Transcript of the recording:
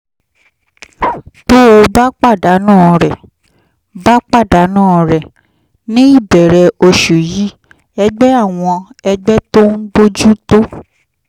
tó o bá pàdánù rẹ̀: bá pàdánù rẹ̀: ní ìbẹ̀rẹ̀ oṣù yìí ẹgbẹ́ àwọn ẹgbẹ́ tó ń bójú tó